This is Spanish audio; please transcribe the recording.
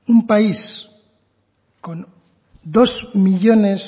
un país con dos millónes